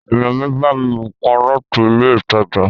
Èèyàn mi bámi ra nǹkan láti ilé ìtajà